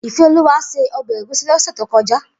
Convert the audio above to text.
Ifeoluwa sé òbè égúsì lòsè tókòjá